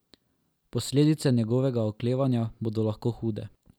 Posledice njegovega oklevanja bodo lahko hude.